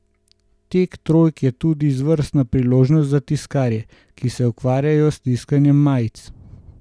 Tek trojk je tudi izvrstna priložnost za tiskarje, ki se ukvarjajo s tiskanjem majic.